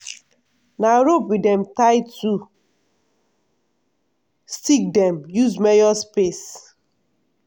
na rope wey dem tie to stick dem use measure space.